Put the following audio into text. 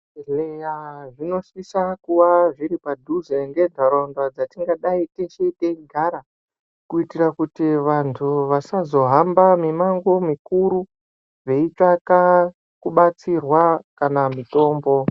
Zvibhedhleya zvinosisa kuva zviri padhuze ngentaraunda dzatingadei teshe teigara, kuitira kuti vanthu vasazohamba mimango mukuru veitsvaka kubatsirwa kana mutombo.